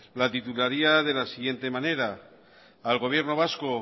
la titularía de la siguiente manera al gobierno vasco